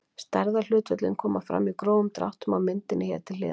Stærðarhlutföllin koma fram í grófum dráttum á myndinni hér til hliðar.